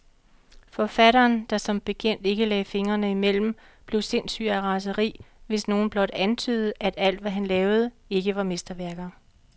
Forfatteren, der som bekendt ikke lagde fingrene imellem, blev sindssyg af raseri, hvis nogen blot antydede, at alt, hvad han lavede, ikke var mesterværker.